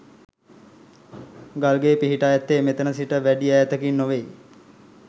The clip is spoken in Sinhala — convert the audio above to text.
ගල් ගේ පිහිටා ඇත්තේ මෙතැන සිට වැඩි ඈතකින් නොවෙයි.